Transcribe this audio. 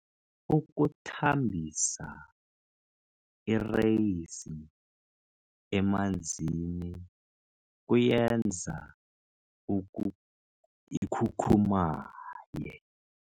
Ukuthambisa ireyisi emanzini kuyenza ikhukhumaye.